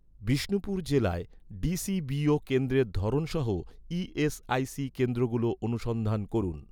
বিষ্ণুপুর জেলায়, ডি.সি.বি.ও কেন্দ্রের ধরন সহ ই.এস.আই.সি কেন্দ্রগুলো অনুসন্ধান করুন